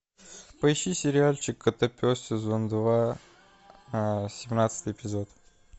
поищи сериальчик котопес сезон два семнадцатый эпизод